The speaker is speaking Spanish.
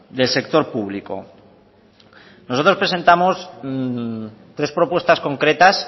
del sector público nosotros presentamos tres propuestas concretas